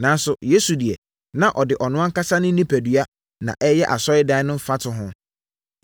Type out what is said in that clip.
Nanso, Yesu deɛ, na ɔde ɔno ankasa ne onipadua na ɛreyɛ asɔredan no mfatoho,